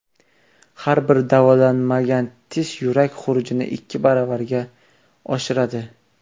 Har bir davolanmagan tish yurak xurujini ikki baravarga oshiradi.